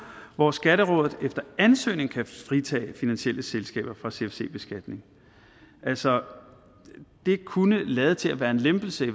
hvor skatterådet efter ansøgning kan fritage finansielle selskaber fra cfc beskatning altså det kunne lade til at være en lempelse